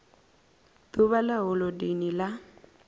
d uvha ḽa holodeni ḽa